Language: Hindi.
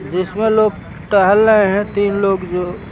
जिसमें लोग टहल रहे हैं तीन लोग जो।